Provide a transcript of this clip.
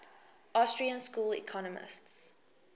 austrian school economists